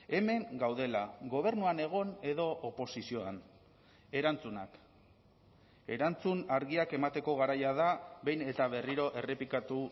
hemen gaudela gobernuan egon edo oposizioan erantzunak erantzun argiak emateko garaia da behin eta berriro errepikatu